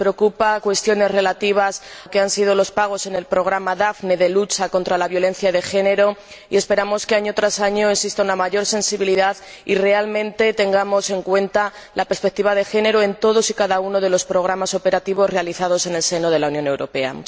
Nos preocupan cuestiones relativas a los pagos en el programa Daphne de lucha contra la violencia de género y esperamos que, año tras año, exista una mayor sensibilidad y realmente tengamos en cuenta la perspectiva de género en todos y cada uno de los programas operativos realizados en el seno de la Unión Europea.